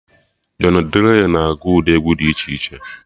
Jọny Drịl na agụ ụdị egwu dị iche iche